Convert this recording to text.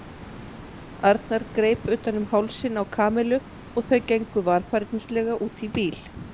Arnar greip utan um hálsinn á Kamillu og þau gengu varfærnislega út í bíl.